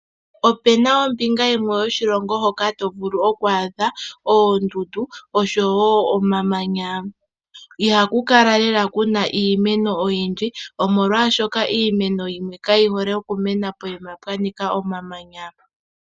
Opena ombinga yimwe yoshilongo hoka tovulu oku adha oondundu oshowo omamanya. Iha ku kala lela kuna iimeno oyindji, omolwa shoka imeno yimwe kayi hole okumena poyima pwanika omamanya.